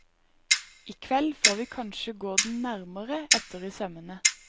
I kveld får vi kanskje gå den nærmere etter i sømmene.